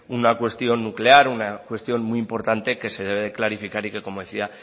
una cuestión nuclear una cuestión muy importante que se debe de clarificar y que como decía